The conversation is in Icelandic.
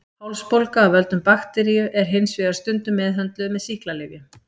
Hálsbólga af völdum bakteríu er hins vegar stundum meðhöndluð með sýklalyfjum.